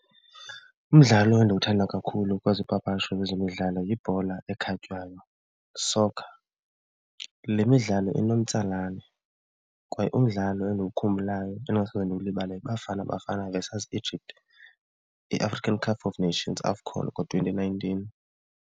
Umdlalo endiwuthanda kakhulu kwezopapasho lwezemidlalo yibhola ekhatywayo, soccer. Le midlalo inomtsalane kwaye umdlalo endiwukhumbulayo endingasoze ndiwulibale yiBafana Bafana versus Egypt iAfrican Cup of Nations, AFCON, ngo-twenty nineteen.